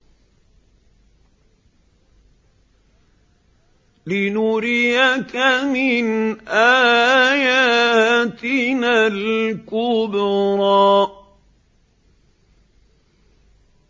لِنُرِيَكَ مِنْ آيَاتِنَا الْكُبْرَى